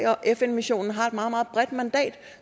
fn missionen har et meget meget bredt mandat